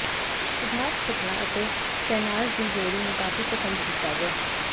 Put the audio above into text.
ਸਿਧਾਰਥ ਸ਼ੁਕਲਾ ਅਤੇ ਸ਼ਹਿਨਾਜ਼ ਦੀ ਜੋੜੀ ਨੂੰ ਕਾਫੀ ਪਸੰਦ ਕੀਤਾ ਗਿਆ